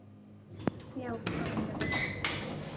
Já, bara mjög vel.